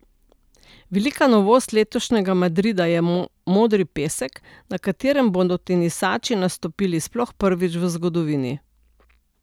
Velika novost letošnjega Madrida je modri pesek, na katerem bodo tenisači nastopili sploh prvič v zgodovini.